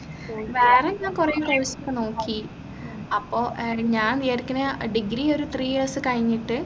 വേറെ ഞാൻ കുറെ course ഒക്കെ നോക്കി അപ്പോ ഏർ ഞാൻ വിചാരിക്കുന്നെ degree ഒരു three years കഴിഞ്ഞിട്ട്